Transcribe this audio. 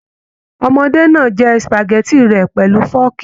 Ọmọdé náà jẹ supágẹ̀tì rẹ pẹlú fọọkí.